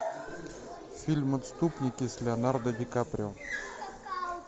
фильм отступники с леонардо ди каприо